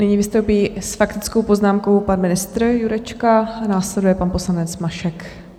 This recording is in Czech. Nyní vystoupí s faktickou poznámkou pan ministr Jurečka, následuje pan poslanec Mašek.